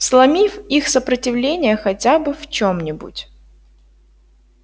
сломив их сопротивление хотя бы в чём-нибудь